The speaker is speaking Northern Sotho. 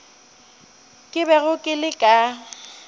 ke bego ke le ka